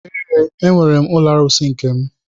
Ee, enwere m ụlọ arụsị nke m.